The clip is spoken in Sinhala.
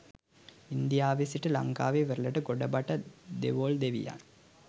ඉන්දියාවේ සිට ලංකාවේ වෙරළට ගොඩබට දෙවොල් දෙවියන්